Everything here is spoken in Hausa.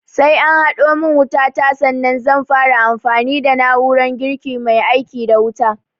Sai an haɗo min wuta ta sannan zan fara amfani da na'urar girkin mai aiki da wuta